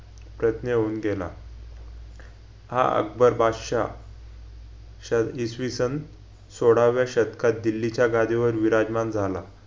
तज्ज्ञ होऊन गेला हा अकबर बादशहा सन इसवीसन सोडाव्या शतकात दिल्लीच्या गादीवर विराजमान झाला